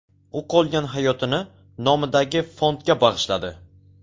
U qolgan hayotini nomidagi fondga bag‘ishladi.